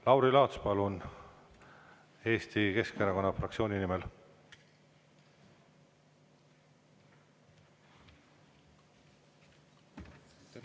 Lauri Laats, palun, Eesti Keskerakonna fraktsiooni nimel!